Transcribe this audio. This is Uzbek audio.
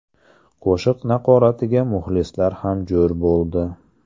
Qo‘shiq naqoratiga muxlislar ham jo‘r bo‘ldi.